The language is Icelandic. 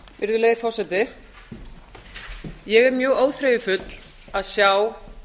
virðulegi forseti ég er mjög óþreyjufull að sjá